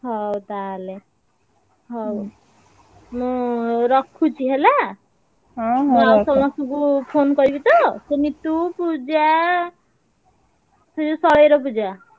ହଉ ତାହେଲେ ମୁଁ ରଖୁଛି ହେଲା। ସମସ୍ତଙ୍କୁ phone କରିବି ତ, ସେ ନିତୁ, ପୂଜା ସେ ଯୋଉ ଶୈର ପୂଜା।